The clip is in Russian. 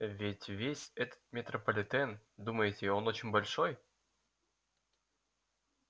ведь весь этот метрополитен думаете он очень большой